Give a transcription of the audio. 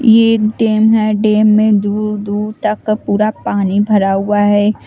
यह एक डेम है डेम में दूर दूर तक पूरा पानी भरा हुआ है।